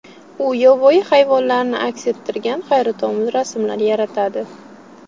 U yovvoyi hayvonlarni aks ettirgan hayratomuz rasmlar yaratadi.